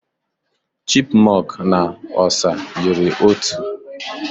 Chipmunk na osa yiri otu.